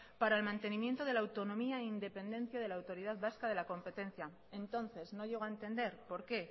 para el mantenimiento de la autonomía e independencia de la autoridad vasca de la competencia entonces no llego a entender por qué